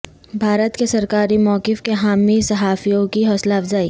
بھارت کے سرکاری موقف کے حامی صحافیوں کی حوصلہ افزائی